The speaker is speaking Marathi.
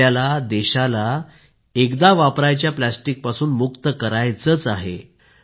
आपल्याला देशाला एकदा वापरायच्या प्लॅस्टिकपासून मुक्त करायचेच आहे